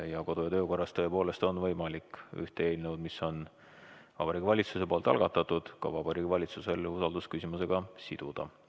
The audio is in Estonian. Meie kodu- ja töökorra seaduse järgi tõepoolest on võimalik ühte eelnõu, mis on Vabariigi Valitsuse algatatud, ka Vabariigi Valitsuse usaldusküsimusega siduda.